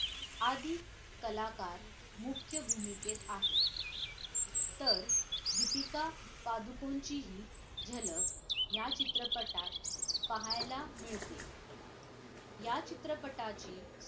आदी कलाकार मुख्य भूमिकेत आहेत तर दीपिका पादुकोणचीही झलक या चित्रपटात पाहायला मिळते या चित्रपटाची